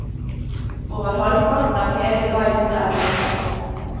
Over halvparten av hele guiden er bilder.